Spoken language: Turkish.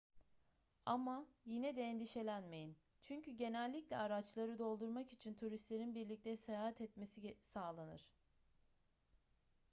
ama yine de endişelenmeyin çünkü genellikle araçları doldurmak için turistlerin birlikte seyahat etmesi sağlanır